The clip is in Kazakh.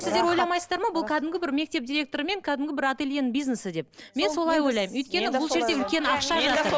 сіздер ойламайсыздар ма бұл кәдімгі бір мектеп директоры мен кәдімгі бір ательенің бизнесі деп мен солай ойламын өйткені бұл жерде үлкен ақша жатыр